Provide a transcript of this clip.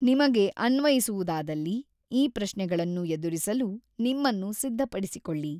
ನಿಮಗೆ ಅನ್ವಯಿಸುವುದಾದಲ್ಲಿ, ಈ ಪ್ರಶ್ನೆಗಳನ್ನು ಎದುರಿಸಲು ನಿಮ್ಮನ್ನು ಸಿದ್ಧಪಡಿಸಿಕೊಳ್ಳಿ.